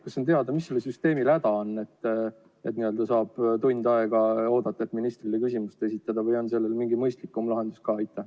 Kas on teada, mis sellel süsteemil häda on, et peab tund aega ootama, et ministrile küsimus esitada, või on sellel mingi mõistlikum lahendus ka?